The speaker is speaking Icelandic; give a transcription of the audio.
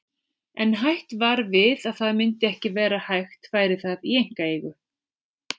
En hætt var við að það myndi ekki vera hægt færi það í einkaeigu.